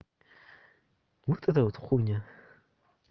вот эта вот хуйня